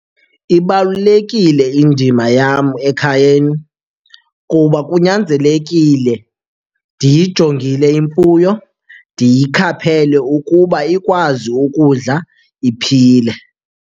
Ibalulekile indima yam ekhayeni kuba kunyanzelekile ndiyijongile imfuyo, ndiyikhaphele ukuba ikwazi ukudla iphile.